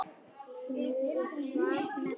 Nú og hvað með það?